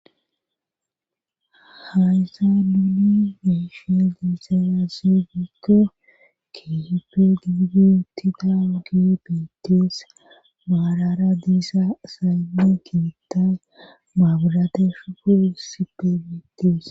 Hayssan nuni be'sha diisa asse gikko keehippe giigi uttidaagi biittees. Maarara diisa asayinne keeththan maabirate shuboy issippe bettees.